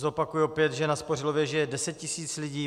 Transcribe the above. Zopakuju opět, že na Spořilově žije 10 tisíc lidí.